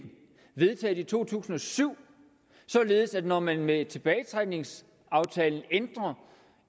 vedtaget i to tusind og syv således at når man med tilbagetrækningsaftalen ændrer